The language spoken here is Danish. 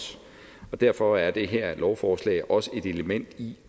derfor er det her lovforslag også et element i